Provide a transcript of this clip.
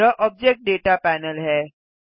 यह object data panel है